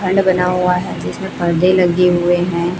खंड बना हुआ है जिसमें परदे लगे हुए हैं।